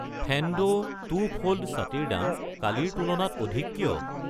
Fendo two fold ছাতি ৰ দাম কালিৰ তুলনাত অধিক কিয়?